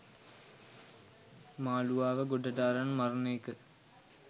මාලුවාව ගොඩට අරන් මරන එක.